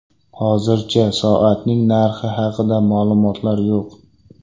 Hozircha soatning narxi haqida ma’lumotlar yo‘q.